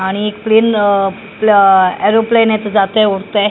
आणि एक प्लेन अ प्ल एरोप्लेन आहेत जातंय उडतंय.